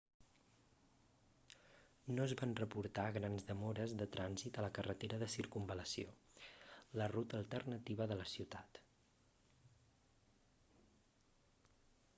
no es van reportar grans demores de trànsit a la carretera de circunvalació la ruta alternativa de la ciutat